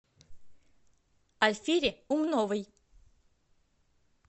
альфире умновой